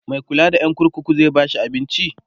Mai kulla da Yan kurkuku zai bashi abinci?